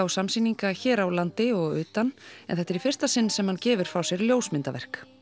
og samsýninga hér á landi og en þetta er í fyrsta sinn sem hann gefur frá sér ljósmyndaverk